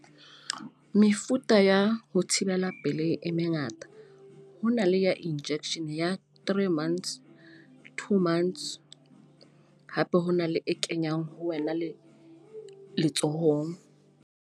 Mefuta ya ho thibela pelehi e mengata. Ho na le ya injection ya three months, two months. Hape hona le e kenyang ho wena le letsohong.